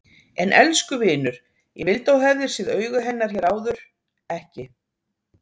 En elsku vinur, ég vildi að þú hefðir séð augu hennar hér áður, ekki